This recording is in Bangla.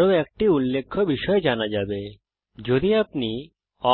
আরও একটি উল্লেখ্য বিষয় জানা যাবে যদি আপনি